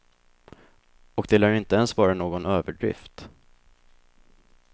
Och det lär inte ens vara någon överdrift.